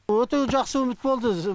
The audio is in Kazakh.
өте жақсы үміт болды өзі